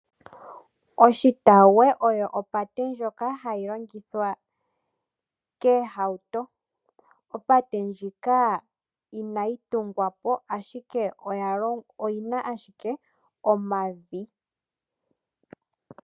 Oshitawuwe oyo opate ndjoka hayi longithwa komahauto. Opate ndjika inayi tungwapo ashike oyina ashike omavi.